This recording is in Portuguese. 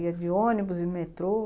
Ia de ônibus, de metrô?